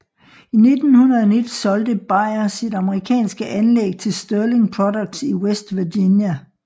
I 1919 solgte Bayer sit amerikanske anlæg til Sterling Products i West Virginia